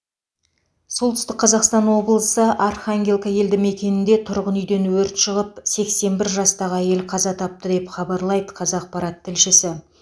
солтүстік қазақстан облысы архангелка елдімекенінде тұрғын үйден өрт шығып сексен бір жастағы әйел қаза тапты деп хабарлайды қазақпарат тілшісі